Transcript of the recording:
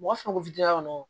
Mɔgɔ fɛn fɛn ko